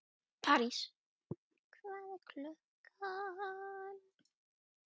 París, hvað er klukkan?